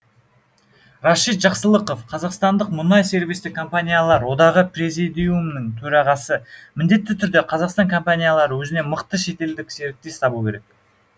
рашид жақсылықов қазақстандық мұнай сервистік компаниялар одағы президиумының төрағасы міндетті түрде қазақстан компаниялары өзіне мықты шетелдік серіктес табу керек